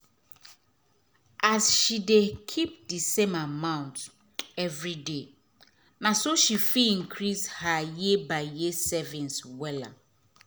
as she dey keep d same amount every day na so she fit increase her year by year savings well